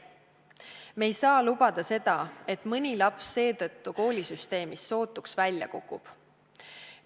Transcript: Me ei saa lubada, et mõni laps seetõttu koolisüsteemist sootuks välja kukub.